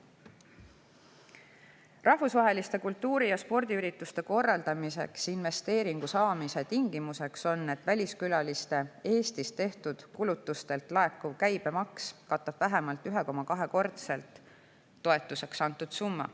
Rahvusvaheliste kultuuri‑ ja spordiürituste korraldamiseks investeeringu saamise tingimus on, et väliskülaliste Eestis tehtud kulutustelt laekuv käibemaks katab vähemalt 1,2‑kordselt toetuseks antud summa.